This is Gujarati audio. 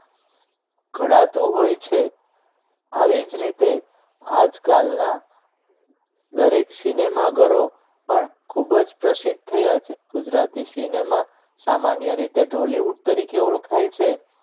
ઘડાતું હોય છે આવી જ રીતે આજકાલના દરેક cinema ઘરો પણ ખૂબ જ પ્રસિદ્ધ થયા છે ગુજરાતી cinema સામાન્ય રીતે ઢોલિવૂડ તરીકે ઓળખાય છે